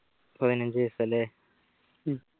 പതിനഞ്ചു ദിവസമല്ലെ ഉം